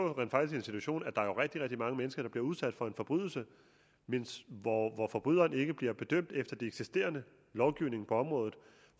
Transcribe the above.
i en situation hvor der er rigtig rigtig mange mennesker der bliver udsat for en forbrydelse men hvor forbryderen ikke bliver dømt efter den eksisterende lovgivning på området